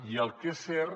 i el que és cert